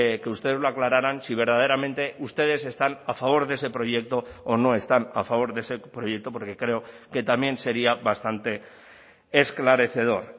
que ustedes lo aclararan si verdaderamente ustedes están a favor de ese proyecto o no están a favor de ese proyecto porque creo que también sería bastante esclarecedor